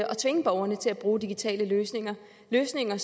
tvinge borgerne til at bruge digitale løsninger løsninger